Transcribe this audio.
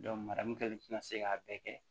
mara mun kɛlen tɛna se k'a bɛɛ kɛ